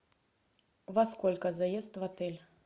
во сколько заезд в отель